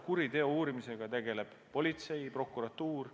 Kuriteo uurimisega tegelevad politsei ja prokuratuur.